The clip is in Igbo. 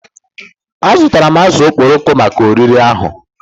Azụtara m azụ̀ okporoko maka oriri ahụ